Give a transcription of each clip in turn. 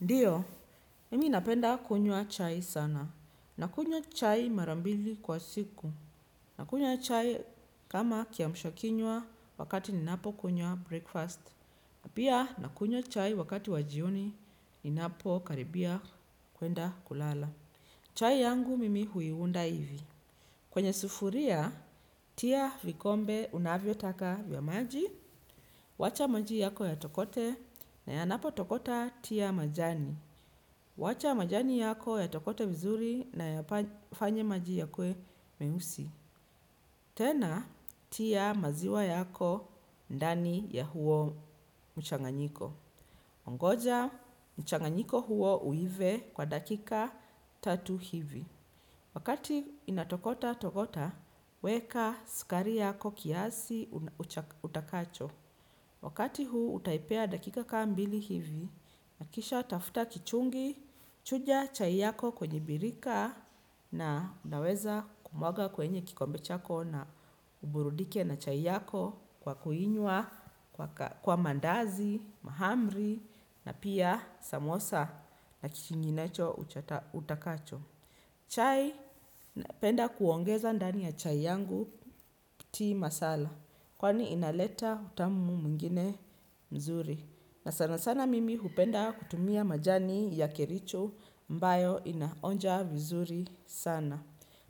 Ndiyo, mimi napenda kunywa chai sana. Nakunywa chai mara mbili kwa siku. Nakunywa chai kama kiamsha kinywa wakati ninapokunywa breakfast. Pia nakunywa chai wakati wa jioni ninapokaribia kwenda kulala. Chai yangu mimi huiunda hivi. Kwenye sufuria, tia vikombe unavyotaka vya maji. Wacha maji yako yatokote na yanapotokota tia majani. Wacha majani yako yatokote vizuri na yafanye maji yakuwe meusi. Tena, tia maziwa yako ndani ya huo mchanganyiko. Ongoja mchanganyiko huo uive kwa dakika tatu hivi. Wakati inatokota tokota, weka skari yako kiasi utakacho. Wakati huu utaipea dakika ka mbili hivi. Na kisha tafuta kichungi, chuja chai yako kwenye birika na unaweza kumwaga kwenye kikombe chako na uburudike na chai yako kwa kuinywa kwa kwa mandazi, mahamri na pia samosa na kinginecho utakacho. Chai napenda kuongeza ndani ya chai yangu tea masala kwani inaleta utamu mwingine mzuri na sana sana mimi hupenda kutumia majani ya kericho ambayo inaonja vizuri sana.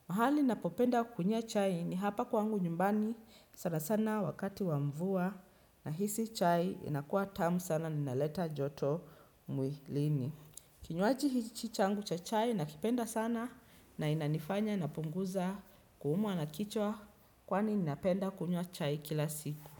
Mahali ninapopenda kukunywia chai ni hapa kwangu nyumbani sana sana wakati wa mvua nahisi chai inakua tamu sana na inaleta joto mwilini. Kinywaji hichi changu cha chai nakipenda sana na inanifanya napunguza kuumwa na kichwa kwani napenda kunywa chai kila siku.